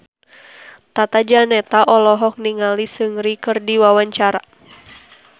Tata Janeta olohok ningali Seungri keur diwawancara